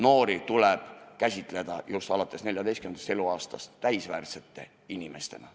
Noori tuleb käsitada alates 14. eluaastast täisväärtuslike inimestena.